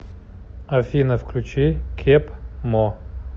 афина включи кеб мо